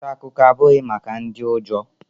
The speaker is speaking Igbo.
Nta akụkọ abụghị maka ndị ụjọ